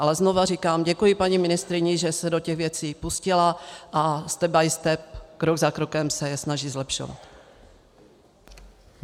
Ale znovu říkám, děkuji paní ministryni, že se do těch věcí pustila, a step by step, krok za krokem, se je snaží zlepšovat.